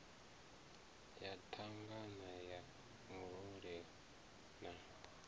ya thangana ya murole na